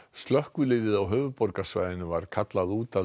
slökkviliðið á höfuðborgarsvæðinu var kallað út að